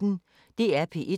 DR P1